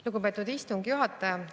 Lugupeetud istungi juhataja!